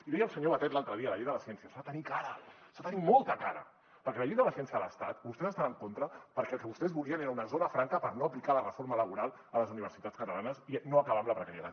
i deia el senyor batet l’altre dia a la llei de la ciència s’ha de tenir cara s’ha de tenir molta cara perquè amb la llei de la ciència de l’estat vostès hi estan en contra perquè el que vostès volien era una zona franca per no aplicar la reforma laboral a les universitats catalanes i no acabar amb la precarietat